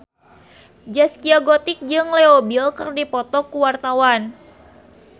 Zaskia Gotik jeung Leo Bill keur dipoto ku wartawan